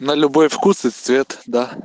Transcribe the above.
на любой вкус и цвет да